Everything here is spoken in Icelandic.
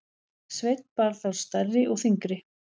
Sveinn bar þá stærri og þyngri.